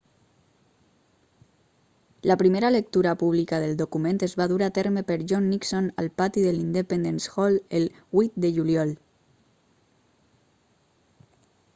la primera lectura pública del document es va dur a terme per john nixon al pati de l'independence hall el 8 de juliol